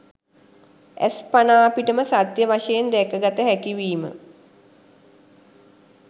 ඇස් පනාපිටම සත්‍ය වශයෙන් දැකගත හැකිවීම